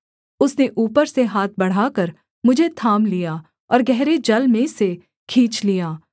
उसने ऊपर से हाथ बढ़ाकर मुझे थाम लिया और गहरे जल में से खींच लिया